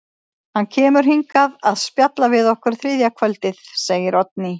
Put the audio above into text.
Hann kemur hingað að spjalla við okkur þriðja kvöldið, segir Oddný.